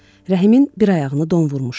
Rəhimin bir ayağını don vurmuşdu.